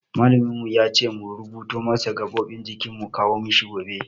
Malamin mu ya ce mu rubuto masa gaɓoɓin jiki mu kawo mishi gobe.